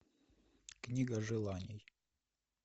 книга желаний